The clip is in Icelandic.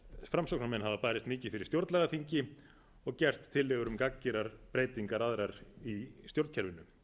framsóknarmenn hafa barist mikið fyrir stjórnlagaþingi og gert tillögur um gagngerar breytingar aðrar í stjórnkerfinu